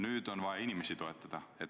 Nüüd on vaja inimesi toetada.